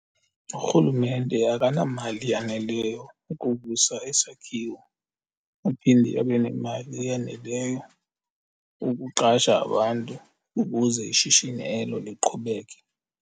Urhulumente akanamali yaneleyo yokuvusa isakhiwo aphinde abe nemali eyaneleyo ukuqasha abantu ukuze ishishini elo liqhubeke.